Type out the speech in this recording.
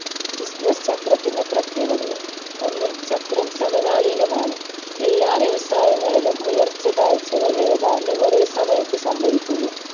business ചക്രത്തിന്റെ പ്രത്യേകതകൾ ഒന്ന് ചക്രം സമകാലീനമാണ് എല്ലാ വ്യവസായങ്ങളിലും ഉയർച്ച താഴ്ച്ചകൾ ഏതാണ്ട് ഒരേ സമയത്ത് സംഭവിക്കുന്നു.